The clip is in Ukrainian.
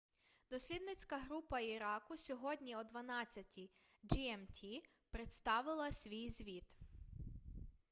дослідницька група іраку сьогодні о 12:00 gmt представила свій звіт